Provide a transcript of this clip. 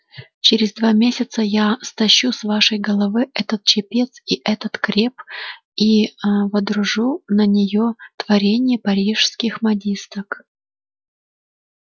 через два месяца я стащу с вашей головы этот чепец и этот креп и ээ водружу на неё творение парижских модисток